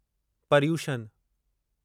परिउशन